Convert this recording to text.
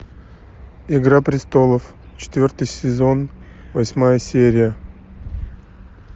игра престолов четвертый сезон восьмая серия